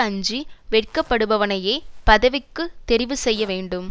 அஞ்சி வெட்கப்படுபவனையே பதவிக்கு தெரிவு செய்யவேண்டும்